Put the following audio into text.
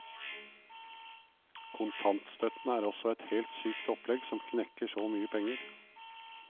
Kontantstøtten er også et helt sykt opplegg som knekker så mye penger.